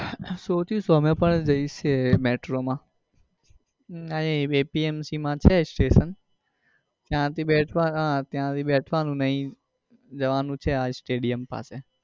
શોચીશું અમે પણ બેસીએ metro માં અરે apmc માં છે સ્ટેશન ત્યાં થી બેસ હમ બેસવાનું ને અહીં જવાનું છે stadium પાસે.